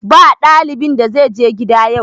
Ba ɗalibin da zai je gida yau!